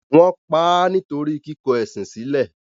wọ́n pa á nítorí “ kíkọ ẹ̀sìn sílẹ̀”.